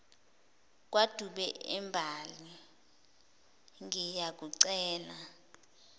kwadube embali ngiyakucela